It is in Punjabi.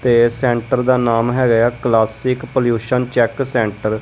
ਤੇ ਸੈਂਟਰ ਦਾ ਨਾਮ ਹੈਗਾ ਕਲਾਸੀਕ ਪੋਲਿਊਸ਼ਨ ਚੈੱਕ ਸੈਂਟਰ ।